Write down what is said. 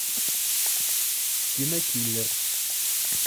кинокиллер